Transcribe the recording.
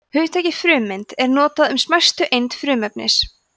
hugtakið frumeind er notað um smæstu eind frumefnis